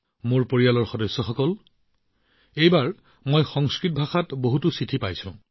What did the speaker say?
মোৰ পৰিয়ালৰ সদস্যসকল এইবাৰ সংস্কৃত ভাষাত বহু চিঠি পাইছো